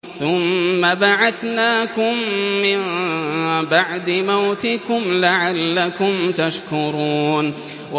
ثُمَّ بَعَثْنَاكُم مِّن بَعْدِ مَوْتِكُمْ لَعَلَّكُمْ تَشْكُرُونَ